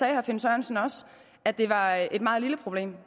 herre finn sørensen også at det var et meget lille problem